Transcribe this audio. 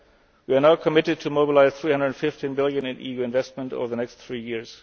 EFSI. We are now committed to mobilise EUR 315 billion in EU investment over the next three